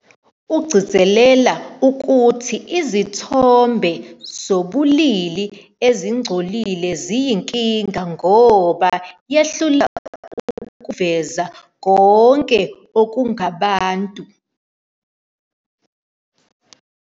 Ugcizelela ukuthi izithombe zobulili ezingcolile ziyinkinga ngoba "yehluleka ukuveza konke okungabantu".